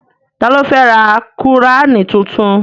Ta ló fẹ́ ra qùránì tuntun?